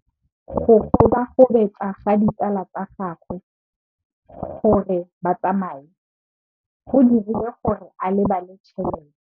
Go gobagobetsa ga ditsala tsa gagwe, gore ba tsamaye go dirile gore a lebale tšhelete.